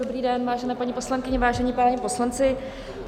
Dobrý den, vážené paní poslankyně, vážení páni poslanci.